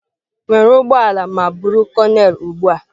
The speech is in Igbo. Were ụgbọ ala ma buru konel ugbu a.